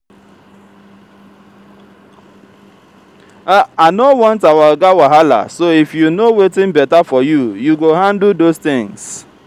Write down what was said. i no want our oga wahala so if you know wetin beta for you you go handle those things